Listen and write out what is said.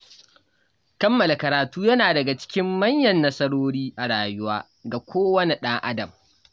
Kammala karatu yana daga cikin manyan nasarori a rayuwa ga kowane ɗan Adam